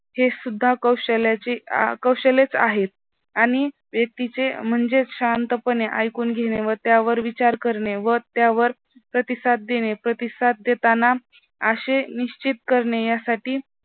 हे सुद्धा कौशल्याचे कौशल्यच आहे आणि व्यक्तीचे म्हणजे शांतपणे ऐकून घेणे व त्यावर विचार करणे व त्यावर प्रतिसाद देणे प्रतिसाद देताना अशे निश्चित करणे यासाठी